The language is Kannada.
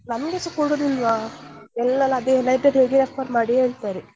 ನಮ್ಗೆಸ ಕೊಡುದಿಲ್ವ ಎಲ್ಲರ್ ಅದೇ library refer ಮಾಡಿ ಹೇಳ್ತಾರೆ.